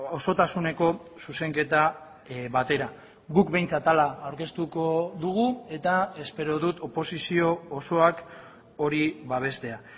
osotasuneko zuzenketa batera guk behintzat hala aurkeztuko dugu eta espero dut oposizio osoak hori babestea